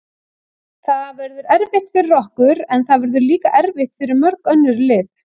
Það verður erfitt fyrir okkur, en það verður líka erfitt fyrir mörg önnur lið.